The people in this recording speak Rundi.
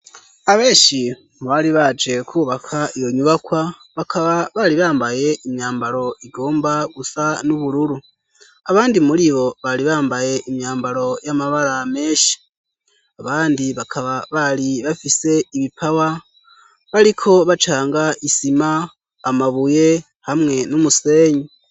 Abenshi mubari baje kubaka iyo nyubakwa ,bakaba bari bambaye imyambaro igomba gusa n'ubururu ,abandi muri bo bari bambaye imyambaro y'amabara menshi ,abandi bakaba bari bafise ibipawa bariko bacanga :isima, amabuye ,hamwe n'umusenyi.